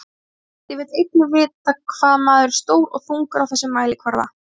Spyrjandi vill einnig vita hvað maður er stór og þungur á þessum mælikvarða.